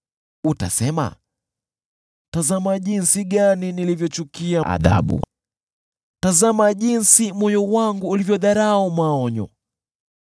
Utasema, “Tazama jinsi gani nilivyochukia adhabu! Tazama jinsi moyo wangu ulivyodharau maonyo!